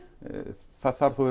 það þarf þá